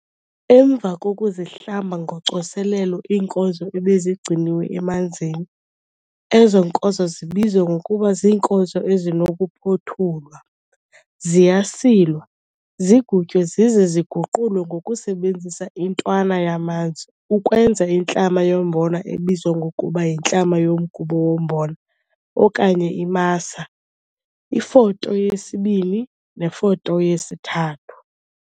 Emva kokuzihlamba ngocoselelo iinkozo ebezigcinwe emanzini, ezo nkozo zibizwa ngokuba ziinkozo ezinokuphothulwa, ziyasilwa, zigutywe zize ziguqulwe ngokusebenzisa intwana yamanzi ukwenza intlama yombona ebizwa ngokuba yintlama yomgubo wombona okanye imasa Ifoto yesi-2 neFoto yesi-3.